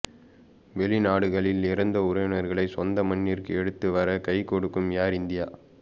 வெளிநாடுகளில் இறந்த உறவினர்களை சொந்த மண்ணிற்கு எடுத்து வர கை கொடுக்கும் ஏர் இந்தியா